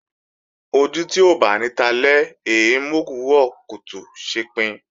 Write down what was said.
Ojú tí ó báni talẹ́ è é mòwúrọ̀ kùtù ṣepin